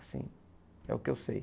Assim, é o que eu sei.